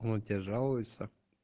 он тебе жалуется